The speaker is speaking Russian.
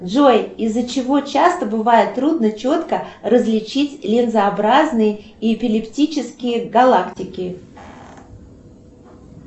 джой из за чего часто бывает трудно четко различить линзообразные и эпилептические галактики